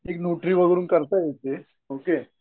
एक वरून काढता येतें ओके